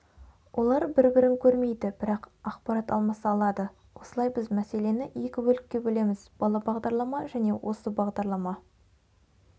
олар бір-бірін көрмейді бірақ ақпарат алмаса алады осылай біз мәселені екі бөлікке бөлеміз бала-бағдарлама және осы бағдарлама